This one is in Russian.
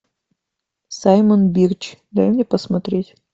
саймон бирч дай мне посмотреть